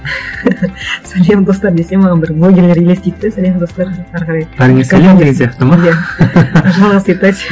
сәлем достар десе маған бір блогерлер елестейді де сәлем достар әрі қарай бәріңе сәлем деген сияқты ма иә